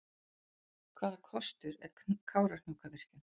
Hvaða kostur er Kárahnjúkavirkjun?